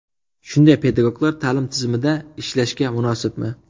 Shunday pedagoglar ta’lim tizimida ishlashga munosibmi?